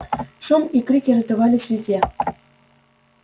шум и крики раздавались везде